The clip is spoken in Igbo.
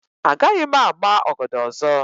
Agaghị m ama ọgọdọ ọzọ.